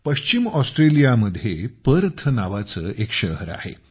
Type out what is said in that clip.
पश्चिम ऑस्ट्रेलियामध्ये पर्थ नावाचे एक शहर आहे